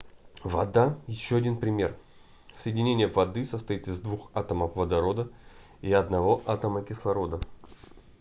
вода ещё один пример соединение воды состоит из двух атомов водорода и одного атома кислорода